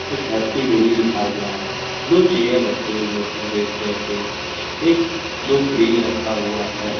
Happy daily लिखा हुआ है दो चेयर रेड कलर रखा हुआ है एक दो फ्रिज रखा हुआ है।